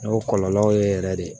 O kɔlɔlɔw ye yɛrɛ de